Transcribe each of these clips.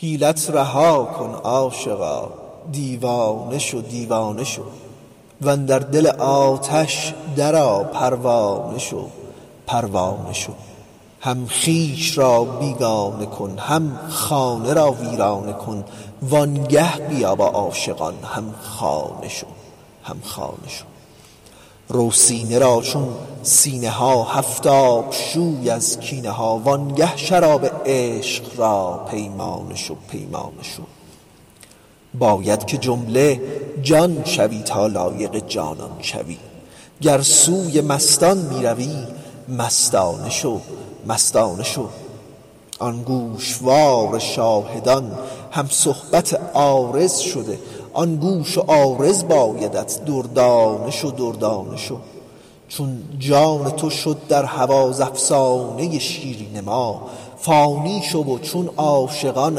حیلت رها کن عاشقا دیوانه شو دیوانه شو و اندر دل آتش درآ پروانه شو پروانه شو هم خویش را بیگانه کن هم خانه را ویرانه کن وآنگه بیا با عاشقان هم خانه شو هم خانه شو رو سینه را چون سینه ها هفت آب شو از کینه ها وآنگه شراب عشق را پیمانه شو پیمانه شو باید که جمله جان شوی تا لایق جانان شوی گر سوی مستان می روی مستانه شو مستانه شو آن گوشوار شاهدان هم صحبت عارض شده آن گوش و عارض بایدت دردانه شو دردانه شو چون جان تو شد در هوا ز افسانه ی شیرین ما فانی شو و چون عاشقان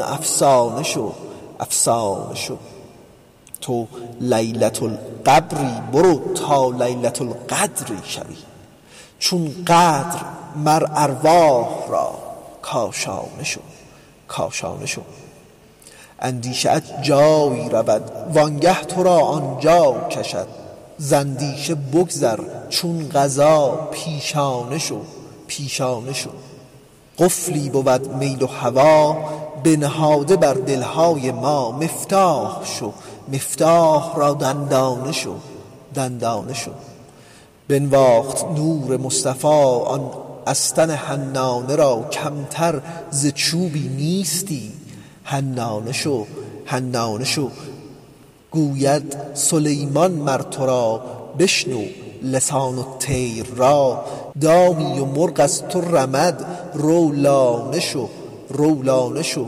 افسانه شو افسانه شو تو لیلة القبری برو تا لیلة القدری شوی چون قدر مر ارواح را کاشانه شو کاشانه شو اندیشه ات جایی رود وآنگه تو را آن جا کشد ز اندیشه بگذر چون قضا پیشانه شو پیشانه شو قفلی بود میل و هوا بنهاده بر دل های ما مفتاح شو مفتاح را دندانه شو دندانه شو بنواخت نور مصطفی آن استن حنانه را کمتر ز چوبی نیستی حنانه شو حنانه شو گوید سلیمان مر تو را بشنو لسان الطیر را دامی و مرغ از تو رمد رو لانه شو رو لانه شو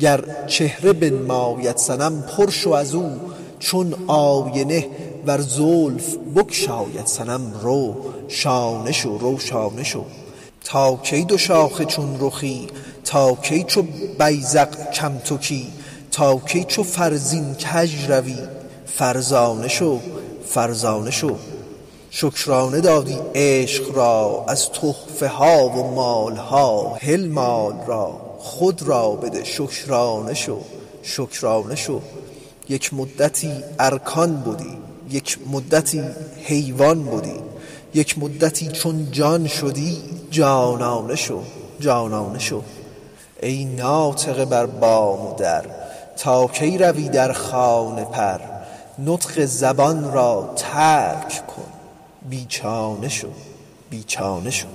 گر چهره بنماید صنم پر شو از او چون آینه ور زلف بگشاید صنم رو شانه شو رو شانه شو تا کی دوشاخه چون رخی تا کی چو بیذق کم تکی تا کی چو فرزین کژ روی فرزانه شو فرزانه شو شکرانه دادی عشق را از تحفه ها و مال ها هل مال را خود را بده شکرانه شو شکرانه شو یک مدتی ارکان بدی یک مدتی حیوان بدی یک مدتی چون جان شدی جانانه شو جانانه شو ای ناطقه بر بام و در تا کی روی در خانه پر نطق زبان را ترک کن بی چانه شو بی چانه شو